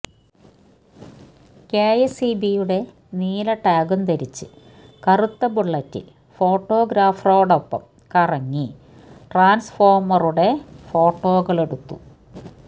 കെഎസ്ഇബിയുടെ നീല ടാഗും ധരിച്ച് കറുത്ത ബുള്ളറ്റിൽ ഫോട്ടോഗ്രാഫറോടൊപ്പം കറങ്ങി ട്രാൻസ്ഫോമറുടെ ഫോട്ടോകളെടുത്തു